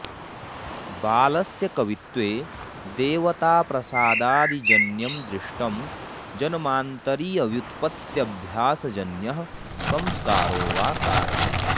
बालस्य कवित्वे देवताप्रसादादिजन्यमदृष्टं जन्मान्तरीयव्युत्प त्यभ्यासजन्यः संस्कारो वा कारणम्